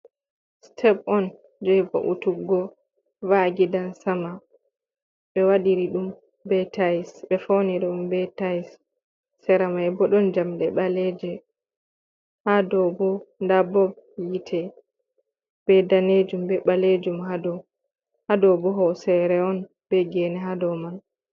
Step on je vautuggo va’a gidan sama ,be wadiri dum be tais be foniri dum be tais sera mai bo don jamde baleje habo da bob yite be danejum be balejum hadobo hosere on be gene hado man.